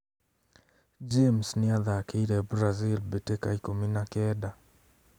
James nĩathakĩire Brazil mbĩtĩka ikũmi na kenda